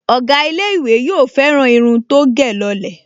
Ọ̀gá ilé-ìwé yóò fẹ́ràn irun tó gẹ̀ lọ lẹ̀